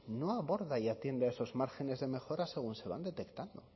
no aborda ni atiende a esos márgenes de mejora según se van detectando